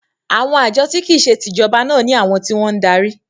“ Àwọn àjọ tí kìí se tìjọba” náà ní àwọn tí wọ́n ń darí.